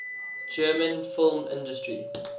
german film industry